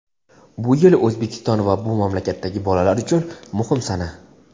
bu yil O‘zbekiston va bu mamlakatdagi bolalar uchun muhim sana.